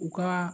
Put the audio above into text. U ka